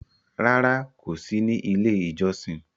Rárá, kò sí ní Ilé-ìjọsìn.